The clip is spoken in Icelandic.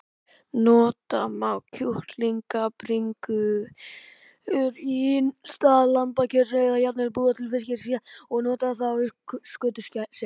Nota má kjúklingabringur í stað lambakjöts eða jafnvel búa til fiskrétt og nota þá skötusel.